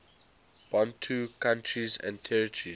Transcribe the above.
bantu countries and territories